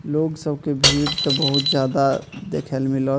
लोग सब के भीड़ त बहुत जादा देखेल में मिलोत।